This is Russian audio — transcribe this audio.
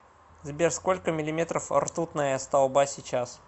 сбер сколько миллиметров ртутная столба сейчас